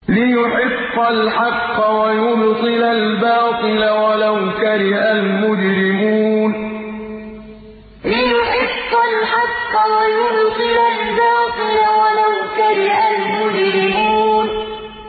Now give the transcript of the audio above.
لِيُحِقَّ الْحَقَّ وَيُبْطِلَ الْبَاطِلَ وَلَوْ كَرِهَ الْمُجْرِمُونَ لِيُحِقَّ الْحَقَّ وَيُبْطِلَ الْبَاطِلَ وَلَوْ كَرِهَ الْمُجْرِمُونَ